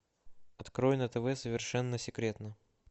открой на тв совершенно секретно